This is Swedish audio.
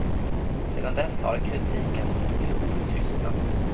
Sedan dess har kritiken mot piloten tystnat.